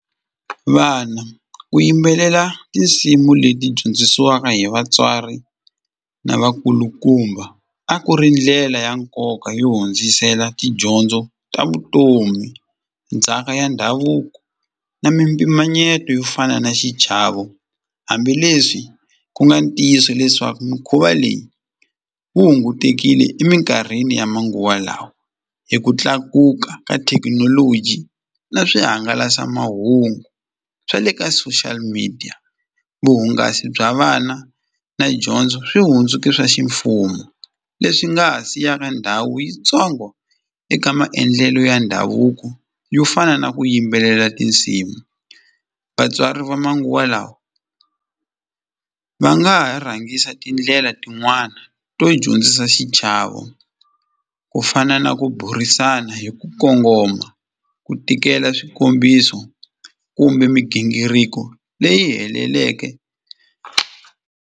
Vana ku yimbelela tinsimu leti dyondzisiwaka hi vatswari na vakulukumba a ku ri ndlela ya nkoka yo hundzisela tidyondzo ta vutomi, ndzhaka ya ndhavuko na mimpimanyeto yo fana na xichavo hambileswi ku nga ntiyiso leswaku mikhuva leyi wu hungutekini eminkarhini ya manguva lawa hi ku tlakuka ka thekinoloji na swihangalasamahungu swa le ka social media vuhungasi bya vana na dyondzo swi hundzuke swa ximfumo leswi nga ha siyaka ndhawu yitsongo eka maendlelo ya ndhavuko yo fana na ku yimbelela tinsimu vatswari va manguva lawa va nga ha rhangisa tindlela tin'wana to dyondzisa xichavo ku fana na ku burisana hi ku kongoma ku tikela swikombiso kumbe migingiriko leyi heleleke.